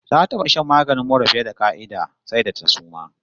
Ta taba shan maganin mura fiye da ƙa'ida, sai da ta suma!